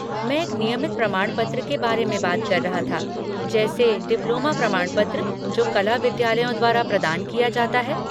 मैं एक नियमित प्रमाणपत्र के बारे में बात कर रहा था, जैसे डिप्लोमा प्रमाणपत्र जो कला विद्यालयों द्वारा प्रदान किया जाता है।